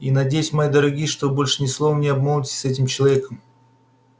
и надеюсь мои дорогие что больше ни словом не обмолвитесь с этим человеком